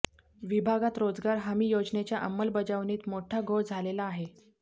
विभागात रोजगार हमी योजनेच्या अंमलबजावणीत मोठा घोळ झालेला आहे